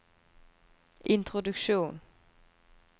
introduksjon